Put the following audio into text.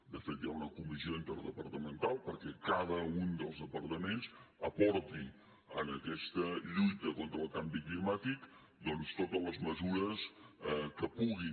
de fet hi ha una comissió interdepartamental perquè cada un dels departaments aporti en aquesta lluita contra el canvi climàtic doncs totes les mesures que puguin